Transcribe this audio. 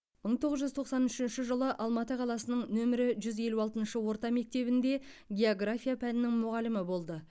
мың тоғыз жүз тоқсан үшінші жылы алматы қаласының нөмірі жүз елу алтыншы орта мектебінде география пәнінің мұғалімі болды